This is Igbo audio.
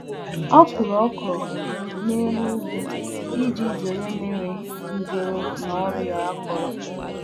um Ọ kụrụ ọkwụrụ um ya n'elu riiji a kọrọ akọ iji gbochie ọrịa mmiri na nke mgbọrọgwụ.